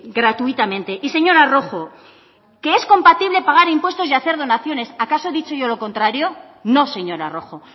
gratuitamente y señora rojo que es compatible pagar impuesto y hacer donaciones acaso he dicho yo lo contrario no señora rojo